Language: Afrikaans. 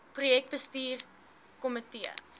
projek bestuurs komitee